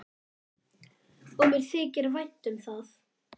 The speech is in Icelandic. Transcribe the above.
Og mér þykir vænt um það.